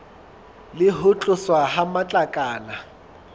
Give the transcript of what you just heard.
le ho tloswa ha matlakala